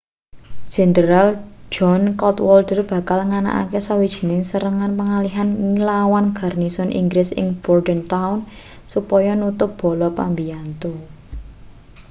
jenderal john cadwalder bakal nganakake sawijining serangan pengalihan nglawan garnisun inggris ing bordentown supaya nutup bala pambiyantu